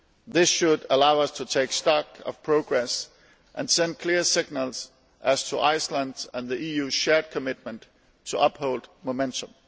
This should allow us to take stock of progress and send clear signals as to Iceland's and the EU's shared commitment to uphold momentum.